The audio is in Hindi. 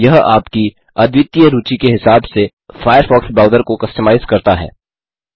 यह आपकी अद्वितीय रूचि के हिसाब से फ़ायरफ़ॉक्स ब्राउज़र को कस्टमाइज करता है